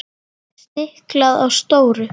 Stiklað á stóru